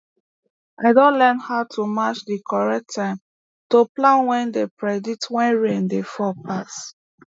i don learn how to match di correct time to plan wey dey predict when rain dey fall pass